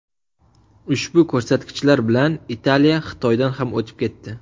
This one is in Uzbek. Ushbu ko‘rsatkichlar bilan Italiya Xitoydan ham o‘tib ketdi.